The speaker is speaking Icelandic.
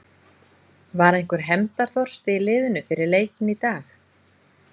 Var einhver hefndarþorsti í liðinu fyrir leikinn í dag?